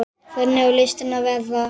Efstu menn í mótinu